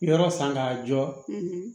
Yɔrɔ san k'a jɔ